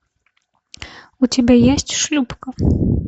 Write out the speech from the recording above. у тебя есть шлюпка